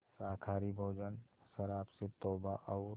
शाकाहारी भोजन शराब से तौबा और